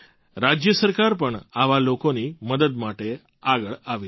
રાજ્ય સરકાર પણ આવા લોકોની મદદ માટે આગળ આવી છે